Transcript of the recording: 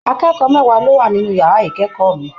Akẹ́kọ̀ọ́ mẹwa ló wà nínú yàrá ikẹkọọ mi.